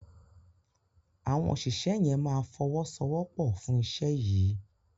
Awọn òṣìṣẹ́ yén má fowosowopo fun iṣé yí.